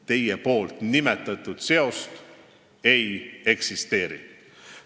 " Teie nimetatud seost ei eksisteeri.